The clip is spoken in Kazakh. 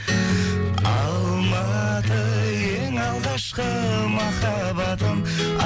алматы ең алғашқы махаббатым